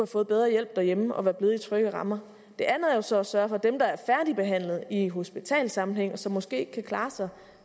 fået bedre hjælp derhjemme og være blevet i trygge rammer det andet er jo så at sørge for at dem der er færdigbehandlet i hospitalssammenhæng og som måske endnu kan klare sig